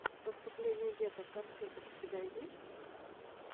выступление деток конфеток у тебя есть